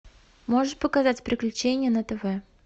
можешь показать приключения на тв